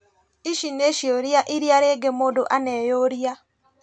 Ici nĩ ciũria iria rĩngĩ mũndũ aneyũria